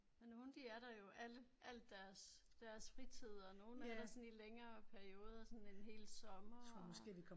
Ja nogen de er der der jo alle alt deres deres fritid og nogen er der sådan i længere perioder sådan en hel sommer og